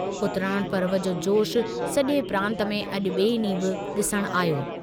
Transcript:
उतराण पर्व जो जोशु सॼे प्रांत में अॼु ॿिएं ॾींहुं बि ॾिसण आहियो।